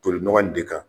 Toli nɔgɔ in de kan